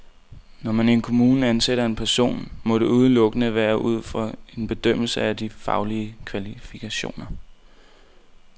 Når man i en kommune ansætter en person, må det udelukkende være ud fra en bedømmelse af de faglige kvalifikationer.